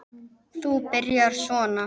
Þú byrjar svona.